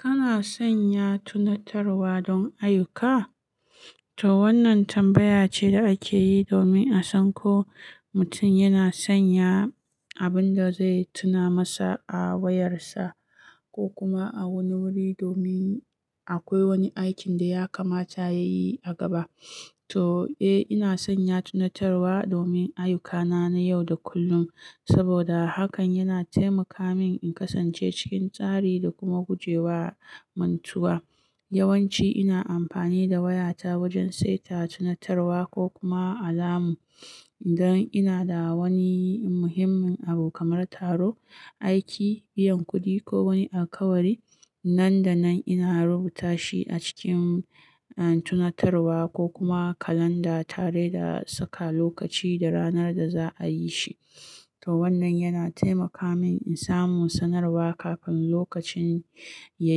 Kana sanya tunatarwa don ayyuka? To wannan tambaya ce da ake yi domin a san ko mutum yana sanya abin da zai tuna masa a wayarsa ko kuma a wani wuri domin akwai wani aikin da ya kamata ya yi a gaba. To, eh, ina sanya tunatarwa domin ayyukana na yau da kullum saboda hakan yana taimaka min in kasance cikin tsari da kuma guje wa mantuwa. Yawanci ina amfani da wayata wajen saita tunatarwa ko kuma alamu idan ina da wani muhimmin abu kamar taro, aiki, biyan kuɗi ko wani akawari. Nan da nan ina rubuta shi a cikin, uhn, tunatarwa ko kuma kalanda tare da saka lokaci da ranar da za a yi shi. To wannan yana taimaka min in samu sanarwa kafin lokacin ya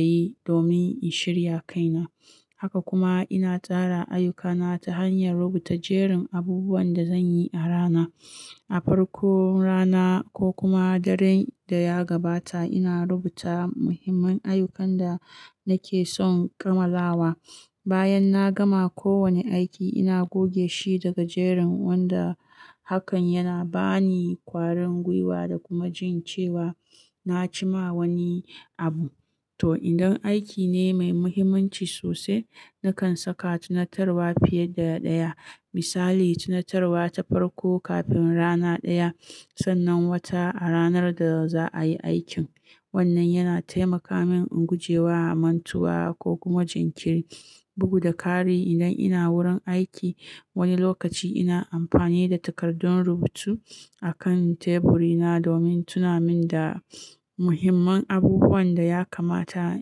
yi domin in shirya kaina. Haka kuma ina tsara ayyukana ta hanyar rubuta jerin abubuwan da zan yi a rana. A farkon rana ko kuma daren da ya gabata ina rubuta muhimman ayyukan da nake son kammalawa. Bayan na gama kowane aiki ina goge shi daga jerin wanda hakan yana ba ni kwarin gwiwa da kuma jin cewa na ci ma wani abu. To idan aiki ne mai muhimmanci sosai nakan saka tunatarwa fiye da ɗaya. Misali, tunatarwa ta farko kafin rana ɗaya, sannan wata a ranar da za a yi aikin. Wannan yana taimaka min in guje wa mantuwa ko kuma jinkiri, bugu da ƙari idan ina wurin aiki. Wani lokaci ina amfani da takardun rubutu akan teburina domin tuna min da muhimman abubuwan da ya kamata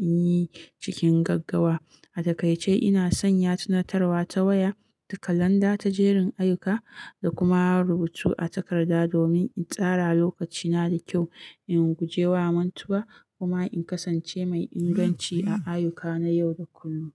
in yi cikin gaggawa. A takaice ina sanya tunatarwa ta waya, da kalanda ta jerin ayyuka, da kuma rubutu a takarda domin in tsara lokacina da kyau, in guje wa mantuwa kuma in kasance mai inganci a ayyuka na yau da kullum.